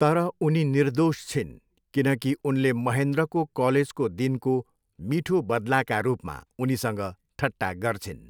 तर उनी निर्दोष छिन् किनकि उनले महेन्द्रको कलेजको दिनको मिठो बदलाका रूपमा उनीसँग ठट्टा गर्छिन्।